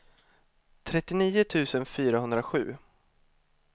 trettionio tusen fyrahundrasju